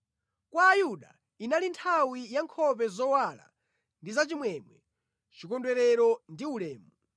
Kwa Ayuda inali nthawi ya nkhope zowala ndi za chimwemwe, chikondwerero ndi ulemu.